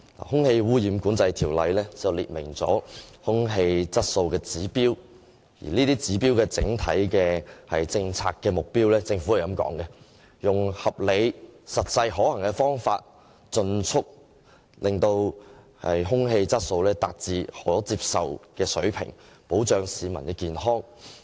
《空氣污染管制條例》訂明空氣質素的指標，而就這些指標的整體政策目標，政府的說法是，用合理而實際可行的方法，盡速使空氣質素達至可接受的水平，從而保障市民的健康。